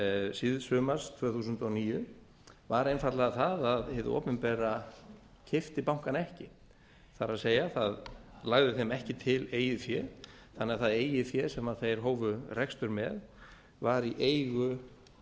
síðsumars tvö þúsund og níu var einfaldlega það að hið opinbera keypti bankana ekki það er það lagði þeim ekki til eigið fé þannig að það eigið fé sem þeir hófu rekstur með var í eigu